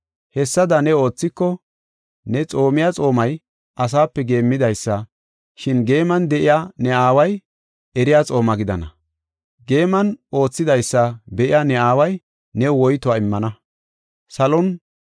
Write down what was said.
Hessada ne oothiko ne xoomiya xoomay asape geemmidaysa, shin geeman de7iya ne Aaway eriya xooma gidana. Geeman oosetidaysa be7iya ne Aaway new woytuwa immana.